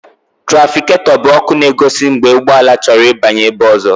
Túrafikato bụ ọkụ na-egosi mgbe ụgbọala chọrọ ịbanye ebe ọzọ.